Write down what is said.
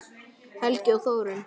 Helgi og Þórunn.